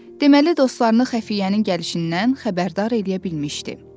Deməli dostlarını xəfiyyənin gəlişindən xəbərdar eləyə bilmişdi.